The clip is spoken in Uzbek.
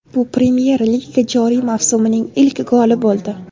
Bu Premyer Liga joriy mavsumining ilk goli bo‘ldi.